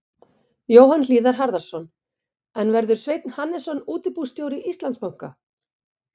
Jóhann Hlíðar Harðarson: En verður Sveinn Hannesson útibússtjóri Íslandsbanka?